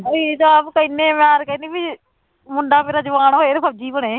ਇੰਨੇ ਵਾਰ ਕਹਿੰਦੀ ਵੀ ਮੁੰਡਾ ਮੇਰਾ ਜਵਾਨ ਹੋਏ ਤੇ ਫ਼ੋਜ਼ੀ ਬਣੇ